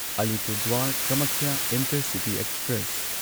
Alipurduar Kamakhya intercity express